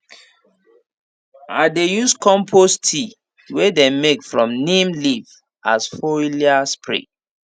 i dey use compost tea wey them make from neem leaves as foliar spray